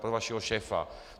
Pro vašeho šéfa.